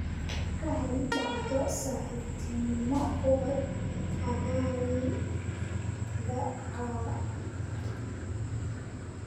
ka hel dhacdo saaxiibtinimo ubad aaggayga caawa